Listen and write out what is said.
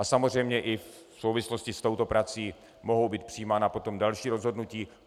A samozřejmě i v souvislosti s touto prací mohou být přijímána potom další rozhodnutí.